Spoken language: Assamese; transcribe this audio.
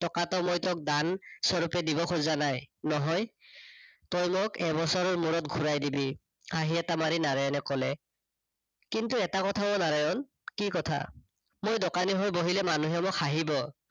টকাতো মই তোক দান স্বৰূপে দিব খোজা নাই নহয় তই মোক এবছৰৰ মুৰত ঘূৰাই দিবি। হাঁহি এটা মাৰি নাৰায়ণে কলে, কিন্তু এটা কথা অ নাৰায়ণ, কি কথা? মই দোকানী হৈ বহিলে মানুহে মোক হাঁহিব